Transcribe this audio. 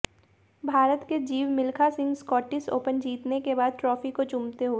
भारत के Jeev Milkha Singh Scottish Open जीतने के बाद ट्राफी को चूमते हुए